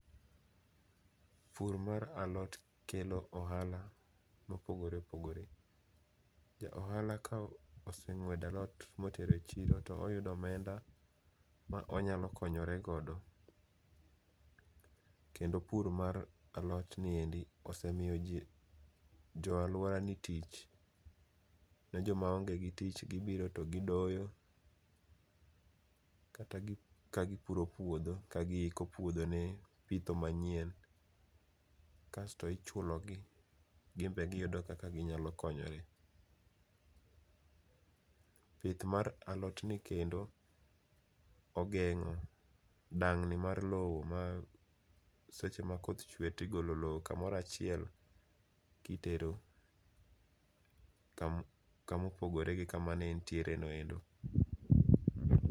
Pur mar alot kelo ohala mopogore opogore. Ja ohala ka oseng'uedo alot motero e chiro to oyudo omenda ma onyalo konyore godo. Kendo pur mar alotni endi osemio jii, jo aluorani tich. Ne jomaongegi tich gibiro to gidoyo, ka gipuro puodho ka giiko puodho ne pitho manyien kasto ichulogi, gimbe giyudo kaka ginyakonyore .Pith mar alotni kendo ogeng'o dang'ni mar loo ma seche ma koth chue tigolo loo kamoro achiel kitero kamopogore gi kama nentiere no endo.